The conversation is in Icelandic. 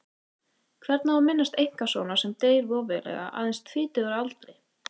Hvernig á að minnast einkasonar sem deyr voveiflega aðeins tvítugur að aldri?